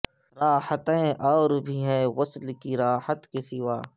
راحتیں او ربھی ہیں وصل کی راحت کے سوا